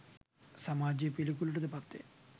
සමාජයේ පිළිකුලට ද පත්වේ